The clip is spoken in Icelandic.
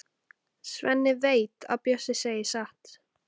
Svenni veit að Bjössi segir satt.